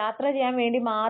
യാത്ര ചെയ്യാൻ വേണ്ടി മാത്രം